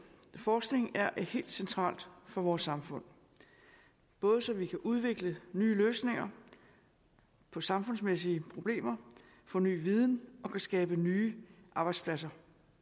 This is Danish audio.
forskning er helt centralt for vores samfund både så vi kan udvikle nye løsninger på samfundsmæssige problemer få ny viden og skabe nye arbejdspladser